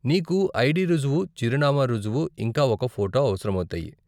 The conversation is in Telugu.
నీకు ఐడీ రుజువు, చిరునామా రుజువు, ఇంకా ఒక ఫోటో అవసరమౌతాయి.